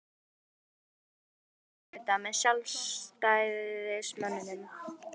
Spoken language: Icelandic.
Fréttamaður:. að mynda nýjan meirihluta með Sjálfstæðismönnum?